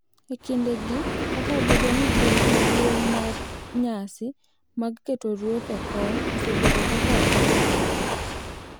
E kindegi, kata obedo ni puonj maduong’ mar nyasi mag keto ruoth e kom osebedo ka ok okethore,